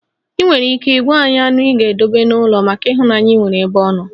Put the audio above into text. Ị nwere ike ị gwa anyị anụ ị ga-edobe n'ụlọ maka ịhụnanya ị nwere ebe ọ nọ?